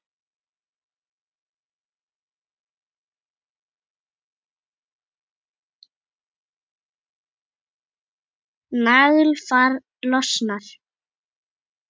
Naglfar losnar.